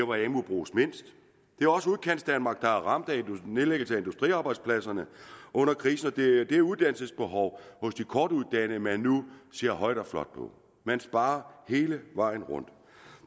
hvor amu bruges mindst det er også udkantsdanmark der er ramt af nedlæggelsen af industriarbejdspladser under krisen og det er uddannelsesbehovet hos de kortuddannede man nu ser højt og flot på man sparer hele vejen rundt